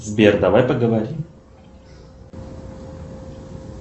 сбер давай поговорим